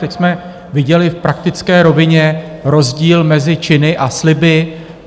Teď jsme viděli v praktické rovině rozdíl mezi činy a sliby.